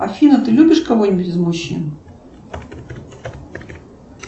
афина ты любишь кого нибудь из мужчин